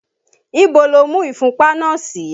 Ibo lo mú ìfúnpá náà sí?